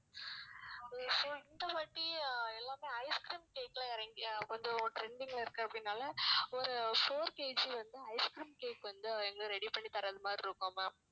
இந்த வாட்டி எல்லாமே ice cream cake ல இறங்கி அஹ் கொஞ்சம் trending ல இருக்கு அப்படிங்குறதுனால ஒரு four KG வந்து ice cream வந்து ready பண்ணி தரது மாதிரி இருக்கும் ma'am